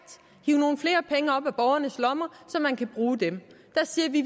hive nogle flere penge op af borgernes lommer så man kan bruge dem der siger vi